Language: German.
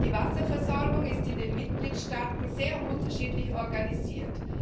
Die Wasserversorgung ist in den Mitgliedstaaten sehr unterschiedlich organisiert.